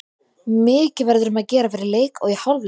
Mikið verður um að gera fyrir leik og í hálfleik.